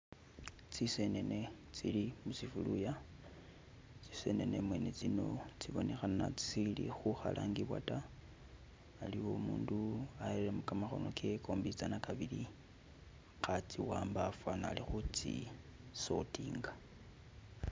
Zisenene zili musefuluya zisenene mwene zino zibonekhana zisili khukhalangibwa ta aliwo umundu arelemo gamakono gewe gombizana gabili khaziwamba fanikhana ali khutsi sortinga.